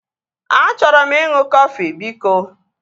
Achọrọ m ịṅụ kọfị biko